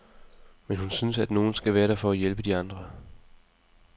Men hun synes, at nogen skal være der for at hjælpe de andre drenge.